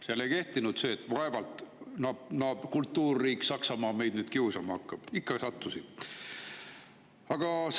Seal ei kehtinud see, et vaevalt kultuurriik Saksamaa nüüd kedagi kiusama hakkab, ikka sattusid.